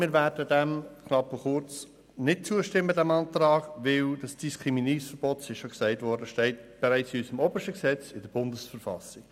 Wir werden jedoch dem Antrag nicht zustimmen, denn das Diskriminierungsverbot steht, wie bereits gesagt wurde, in unserem obersten Gesetz, in der Bundesverfassung.